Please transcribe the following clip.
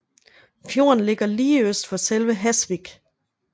Fjorden ligger lige øst for selve Hasvik